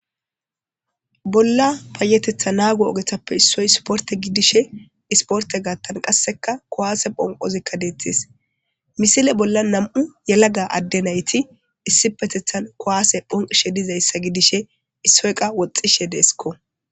Bolla payetetha naago ogethappe issoy isporte gidishe isporte gaattan qasseka kowaase phonqozikka deettis misile bolla nam'u yelaga adde nayti issi petethan kowaase phonqishe dizayssa gidishe issoyqa woxxishe deesikko.